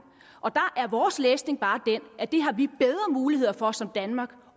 og der er vores læsning bare den at det har vi bedre muligheder for som danmark